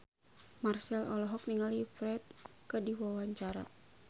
Marchell olohok ningali Ferdge keur diwawancara